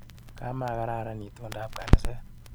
Kamakararan itondop ab kanaset.